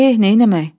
Eh, neynəmək?